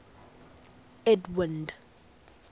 edwind